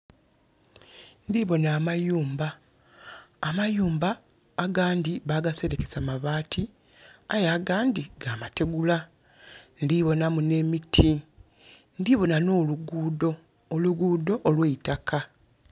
Ndibonha amayumba, amayumba agandhi bagaserekesa mabaati, aye agandhi ga mategula. Ndhibonhamu nhemiti, ndhibonha no luguudo, oluguudo olweitaka.